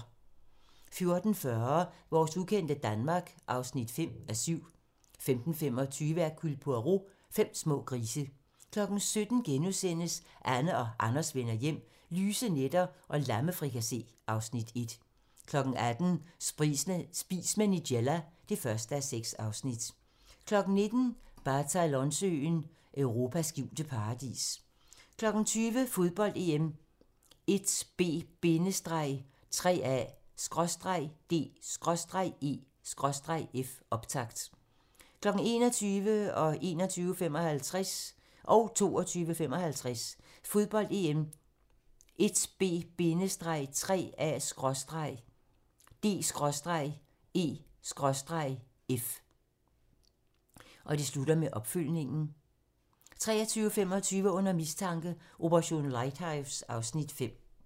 14:40: Vores ukendte Danmark (5:7) 15:25: Hercule Poirot: Fem små grise 17:00: Anne og Anders vender hjem - lyse nætter og lammefrikassé (Afs. 1)* 18:00: Spis med Nigella (1:6) 19:00: Balatonsøen: Europas skjulte paradis 20:00: Fodbold: EM - 1B-3A/D/E/F, optakt 21:00: Fodbold: EM - 1B-3A/D/E/F 21:55: Fodbold: EM - 1B-3A/D/E/F 22:55: Fodbold: EM - 1B-3A/D/E/F, opfølgning 23:25: Under mistanke: Operation Lighthouse (Afs. 5)